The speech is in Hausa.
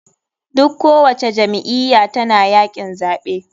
Duk ko wace jam iyya tana yakin zaɓe.